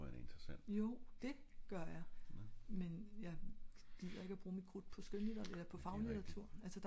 jo det gør jeg men jeg gider ikke at bruge mit krudt på skøn faglitteratur